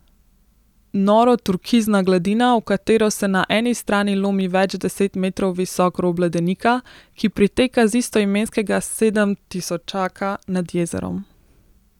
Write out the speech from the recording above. Noro turkizna gladina, v katero se na eni strani lomi več deset metrov visok rob ledenika, ki priteka z istoimenskega sedemtisočaka nad jezerom.